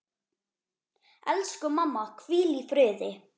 Elsku mamma, hvíl í friði.